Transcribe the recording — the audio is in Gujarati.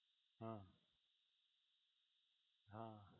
હા હા